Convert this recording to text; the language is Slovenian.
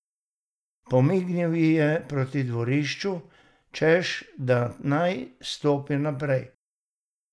Pomignil ji je proti dvorišču, češ da naj stopi naprej.